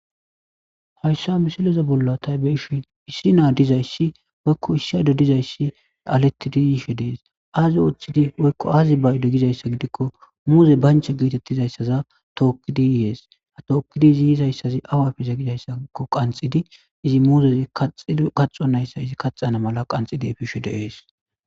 hayssa misileza bolla taybe ishi issi naa dizayssi woykko issado dizayssi alettidi yiishe dees aazi ooththidi woykko aazi baylo gizayssa gidikko muuze bancha geetettizayssaza tookkidi yihees ha tookkidi izi yisayssazi awa fiza gidayssakko qanxidi izi muuzezi kaxo nayssa izi kaxana mala qanxidi efishe deees